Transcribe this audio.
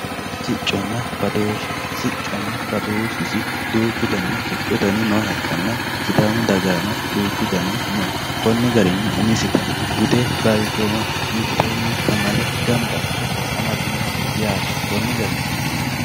Sicconna badooshe, sicconna badooshisi duuchu danihu nooha ikkanna sidaamu dagaranno duuchu garihu no umisitta bude balichooma mitteenni gamba asse amafinoho yaate koni garini